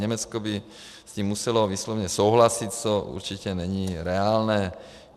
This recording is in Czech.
Německo by s tím muselo vysloveně souhlasit, což určitě není reálné.